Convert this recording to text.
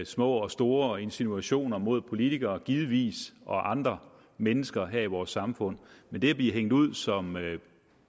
små og store insinuationer mod politikere givetvis og andre mennesker her i vores samfund men det at blive hængt ud som